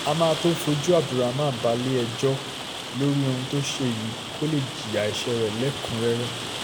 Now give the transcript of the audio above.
a máa tóó fojú abdul raman balẹ̀-ẹjọ́ lórí ohun tó ṣe yìí kó lè jìyà ẹsẹ̀ rẹ lẹ́kùn-ún-rẹ́rẹ́